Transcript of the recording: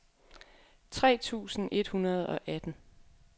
tre tusind et hundrede og atten